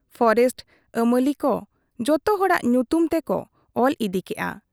Forest ᱟᱹᱢᱟᱹᱞᱤᱠᱚ ᱡᱚᱛᱚ ᱦᱚᱲᱟᱜ ᱧᱩᱛᱩᱢ ᱛᱮᱠᱚ ᱚᱞ ᱤᱫᱤ ᱠᱮᱜ ᱟ ᱾